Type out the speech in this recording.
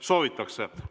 Soovitakse.